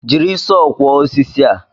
Jiri Sọọ kwọọ osisi a